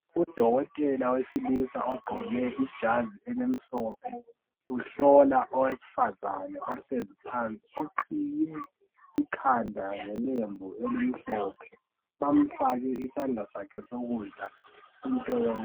Udokotela wesilisa ogqoke ijazi elimhlophe uhlola owesifazane ohlezi phansi oqhiye ikhanda ngelembu elimhlophe. Bamfake isandla sakhe sokudla into yeBp.